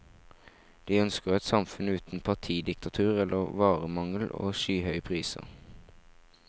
De ønsker et samfunn uten partidiktatur eller varemangel og skyhøye priser.